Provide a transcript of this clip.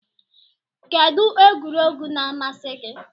Kedu egwuregwu na-amasị gị?